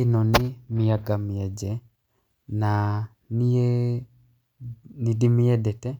ĩno nĩ mĩanga mĩenje. Na niĩ nĩ ndĩmĩendete,